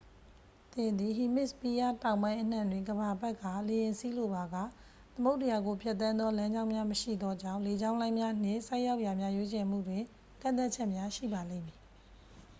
သင်သည် ဟီမစ်စပီးယားတောင်ပိုင်းအနှံ့တွင် ကမ္ဘာပတ်ကာ လေယာဉ်စီးလိုပါက သမုဒ္ဒရာကိုဖြတ်သန်းသောလမ်းကြောင်းများမရှိသောကြောင့် လေကြောင်းလိုင်းများနှင့် ဆိုက်ရောက်ရာများ ရွေးချယ်မှုတွင် ကန့်သတ်ချက်များရှိပါလိမ့်မည်